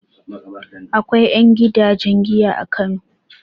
Akwai ƴan gidajen giya a Kano.